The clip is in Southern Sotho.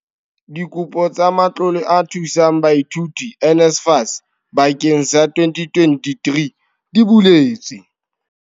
Dikopo tsa Matlole a Thusang Baithuti, NSFAS, bakeng sa 2023 di buletswe.